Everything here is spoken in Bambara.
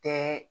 Tɛ